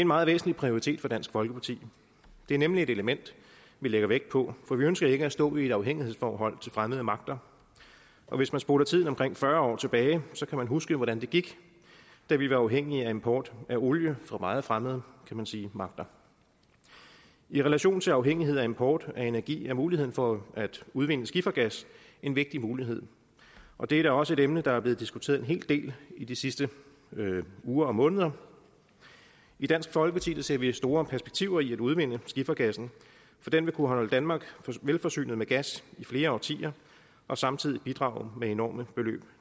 meget væsentlig prioritet for dansk folkeparti det er nemlig et element vi lægger vægt på for vi ønsker ikke at stå i et afhængighedsforhold til fremmede magter og hvis man spoler tiden omkring fyrre år tilbage kan man huske hvordan det gik da vi var afhængige af import af olie fra meget fremmede kan man sige magter i relation til afhængighed af import af energi er muligheden for at udvinde skifergas en vigtig mulighed og det er da også et emne der er blevet diskuteret en hel del i de sidste uger og måneder i dansk folkeparti ser vi store perspektiver i at udvinde skifergassen for den vil kunne holde danmark velforsynet med gas i flere årtier og samtidig bidrage med enorme beløb